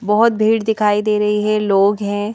बहुत भीड़ दिखाई दे रही है लोग है।